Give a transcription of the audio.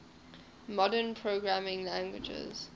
modern programming languages